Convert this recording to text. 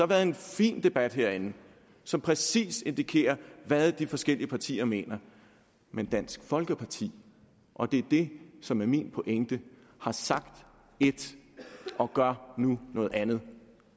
været en fin debat herinde som præcis indikerer hvad de forskellige partier mener men dansk folkeparti og det er det som er min pointe har sagt et og gør nu noget andet